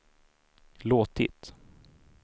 låtit